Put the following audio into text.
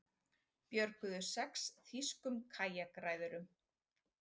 Björguðu sex þýskum kajakræðurum